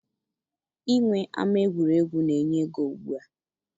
Inwe ama egwuregwu na-enye ego ugbua.